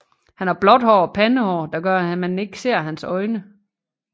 Han har blåt hår og pandehår der gør at man ikke ser hans øjne